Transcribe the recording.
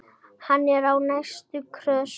Hann er á næstu grösum.